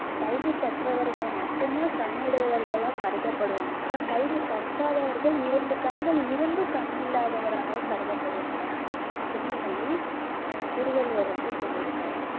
கல்வி கற்றவர்கள் மட்டும் தான் கண்ணுடையவர்களா கருதப்படுவாங்க கல்வி கற்காதவர்கள் இரண்டு கண்கள் இருந்தும் கண் இல்லாதவராக கருதப்படுவாங்க அப்படின்னு சொல்லி அஹ் திருவள்ளுவர் வந்து சொல்லி இருக்காரு